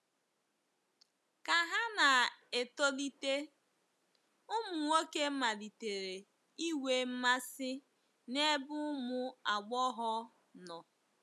Ka ha na-etolite, ụmụ nwoke malitere inwe mmasị n'ebe ụmụ agbọghọ nọ.